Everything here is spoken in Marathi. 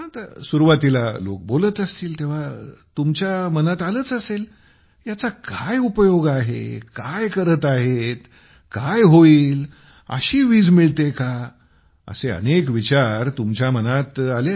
सुरुवातीला लोक बोलत असतील तेव्हा तुमच्या मनात आलेच असेल याचा काय उपयोग आहे काय करत आहेत काय होईल अशी वीज मिळते का असे अनेक विचार तुमच्या मनात आले असतील